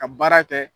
Ka baara kɛ